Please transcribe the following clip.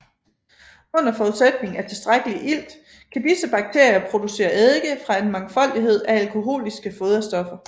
Under forudsætning af tilstrækkelig ilt kan disse bakterier producere eddike fra en mangfoldighed af alkoholiske foderstoffer